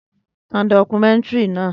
Tan dọ́kúmẹ̀ntìrí náà